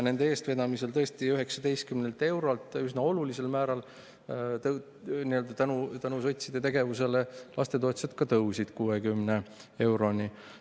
Nende eestvedamisel tõusis see tõesti üsna olulisel määral, tänu sotside tegevusele tõusis lapsetoetus 19 eurolt 60 euroni.